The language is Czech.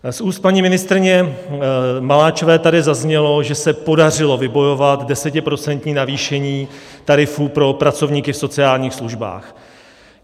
Z úst paní ministryně Maláčové tady zaznělo, že se podařilo vybojovat desetiprocentní navýšení tarifů pro pracovníky v sociálních službách.